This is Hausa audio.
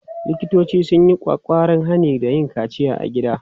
Likitoci sun yi ƙwaƙƙwaran hani da yin kaciya a gida.